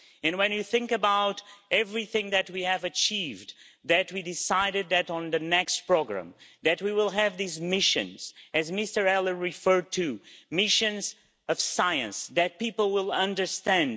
When you think about everything that we have achieved that we have decided that on the next programme we will have these missions that Mr Ehler referred to missions of science that people will understand.